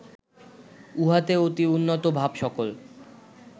উহাতে অতি উন্নত ভাব সকল